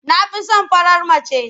Na fi son farar mace.